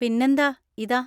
പിന്നെന്താ! ഇതാ.